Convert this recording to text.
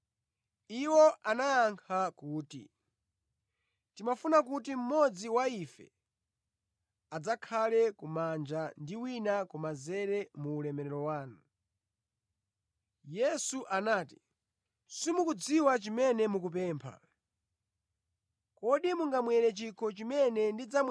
Yesu anati, “Simukudziwa chimene mukupempha. Kodi mungamwere chikho chimene ndidzamwera kapena kubatizidwa ndi ubatizo umene ndibatizidwe nawo?”